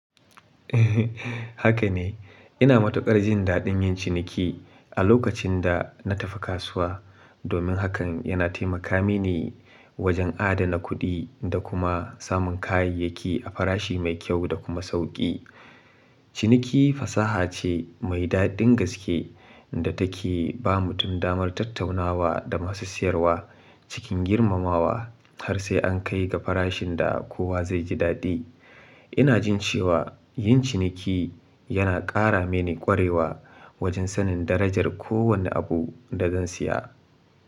Haka ne, ina matuƙar jin daɗin yin ciniki a lokacin da na tafi kasuwa, domin hakan yana taimaka mini wajen adana kuɗi da kuma samun kayayyaki a farashi mai kyau da kuma sauƙi. Ciniki fasaha ce mai daɗin gaske da take ba mutum damar tattaunawa da masu siyarwa cikin girmamawa har sai an kai ga farashin da kowa zai ji daɗi. Ina jin cewa yin ciniki yana ƙara mini ƙwarewa wajen sanin darajar kowane abu da zan siya.